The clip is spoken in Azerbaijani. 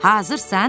Hazırsan?